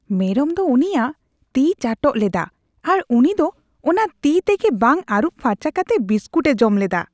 ᱢᱮᱨᱚᱢ ᱫᱚ ᱩᱱᱤᱭᱟᱜ ᱛᱤᱭ ᱪᱟᱴᱚᱜ ᱞᱮᱫᱟ, ᱟᱨ ᱩᱱᱤ ᱫᱚ ᱚᱱᱟ ᱛᱤ ᱛᱮᱜᱮ ᱵᱟᱝ ᱟᱨᱩᱵ ᱯᱷᱟᱨᱪᱟ ᱠᱟᱛᱮ ᱵᱤᱥᱠᱩᱴ ᱮ ᱡᱚᱢ ᱞᱮᱫᱟ ᱾